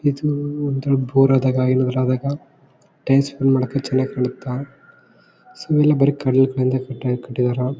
ಇದು ಒಂತರ ಬೋರ್ ಆದಾಗ ಎದುರಾದಾಗ ಟ್ಯಾಂಕ್ಸ್ ಫುಲ್ ಮಾದಕ ಚನ್ನಾಗಿ ಕಾಣುತ್ತ. ಸೊ ಇಲ್ಲಿ ಬರಿ ಕಲ್ಲು ಬಂಡೆ ಹಾಕಿ ಕಟ್ಟಿದ್ದಾರಾ.